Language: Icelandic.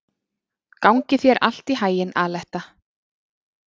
Gangi þér allt í haginn, Aletta.